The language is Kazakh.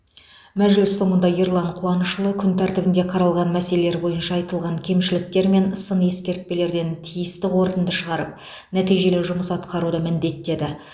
мәжіліс соңында ерлан қуанышұлы күн тәртібінде қаралған мәселелер бойынша айтылған кемшіліктер мен сын ескертпелерден тиісті қорытынды шығарып нәтижелі жұмыс атқаруды міндеттеді